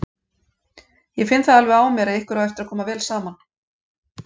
Ég finn það alveg á mér að ykkur á eftir að koma vel saman!